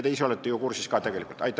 Te ise olete ju sellega ka tegelikult kursis.